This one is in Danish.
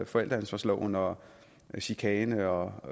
forældreansvarsloven og chikane og